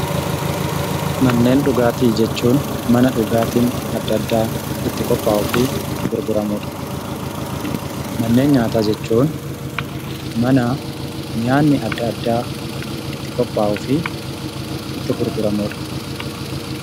Manneen dhugaatii jechuun mana dhugaatiin adda addaa itti qophaa'uufi gurguramudha. Manneen nyaataa jechuun mana nyaati adda addaa itti qophaa'uufi itti gurguramudha.